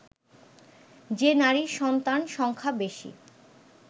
যে নারীর সন্তান সংখ্যা বেশি